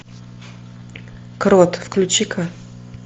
крот включи ка